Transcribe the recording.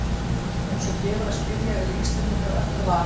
Eins og gefur að skilja eru Íslendingar öllu vanir.